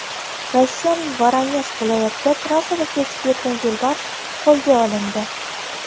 Rossiyaning Voronej viloyatida trassada kezib yurgan yo‘lbars qo‘lga olindi .